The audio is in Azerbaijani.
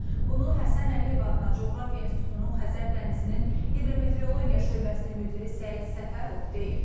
Bunu Həsən Əliyev adına Coğrafiya İnstitutunun Xəzər dənizinin hidrometeorologiya şöbəsinin müdiri Səid Səfərov deyib.